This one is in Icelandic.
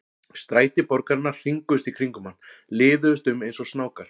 Stræti borgarinnar hringuðust í kringum hann, liðuðust um eins og snákar.